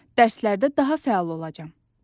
Dərslərdə daha fəal olacam.